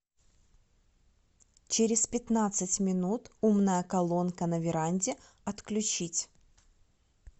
через пятнадцать минут умная колонка на веранде отключить